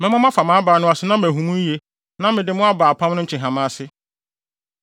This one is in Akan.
Mɛma moafa mʼabaa no ase na mahu mo yiye na mede mo aba apam no nkyehama ase.